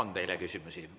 Ja teile on küsimusi.